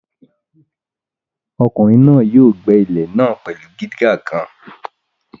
Ọkùnrin náà yóò gbẹ́ ilẹ̀ náà pẹ̀lú dígà kan